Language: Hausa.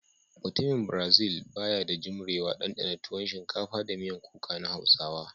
Mutumin "brazil" ba ya da jumrewa dandana tuwon shinkafa da miyan kuka na Hausawa.